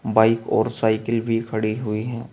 Bike और cycle भी खड़ी हुई है।